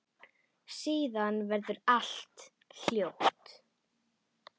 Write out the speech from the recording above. Síðan verður allt hljótt.